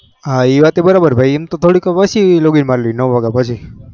હ એ વાતે બરોબર ભાઈ એમતો થોડી પસી login મળવી નાવાગેયા પસી